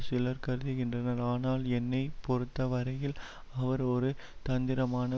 சிலர் கருதுகின்றனர் ஆனால் என்னை பொறுத்தவரையில் அவர் ஒரு தந்திரமான